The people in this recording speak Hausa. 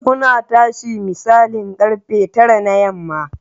Muna tashi misalin karfe tara na yamma.